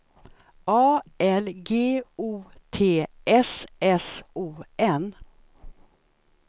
A L G O T S S O N